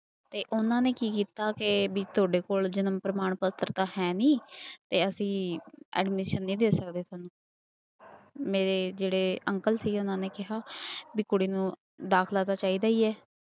ਤੇ ਉਹਨਾਂ ਨੇ ਕੀ ਕੀਤਾ ਕਿ ਵੀ ਤੁਹਾਡੇ ਕੋਲ ਜਨਮ ਪ੍ਰਮਾਣ ਪੱਤਰ ਤਾਂ ਹੈ ਨੀ ਤੇ ਅਸੀਂ admission ਨਹੀਂ ਦੇ ਸਕਦੇ ਤੁਹਾਨੂੰ ਮੇਰੇ ਜਿਹੜੇ ਅੰਕਲ ਸੀ ਉਹਨਾਂ ਨੇ ਕਿਹਾ ਵੀ ਕੁੜੀ ਨੂੰ ਦਾਖਲਾ ਤਾਂ ਚਾਹੀਦਾ ਹੀ ਹੈ।